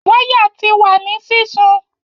Waya ti wa ni sisun